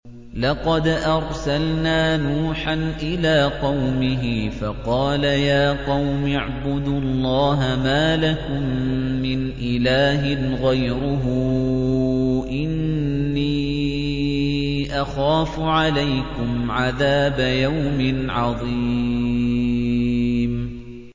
لَقَدْ أَرْسَلْنَا نُوحًا إِلَىٰ قَوْمِهِ فَقَالَ يَا قَوْمِ اعْبُدُوا اللَّهَ مَا لَكُم مِّنْ إِلَٰهٍ غَيْرُهُ إِنِّي أَخَافُ عَلَيْكُمْ عَذَابَ يَوْمٍ عَظِيمٍ